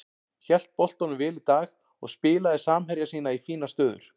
Hélt boltanum vel í dag og spilaði samherja sína í fínar stöður.